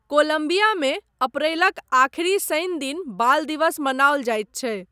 कोलम्बियामे अप्रैलक आखिरी शनि दिन बाल दिवस मनाओल जाइत छै।